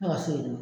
Ne ka so in dun